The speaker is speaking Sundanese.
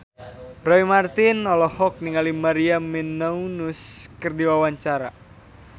Roy Marten olohok ningali Maria Menounos keur diwawancara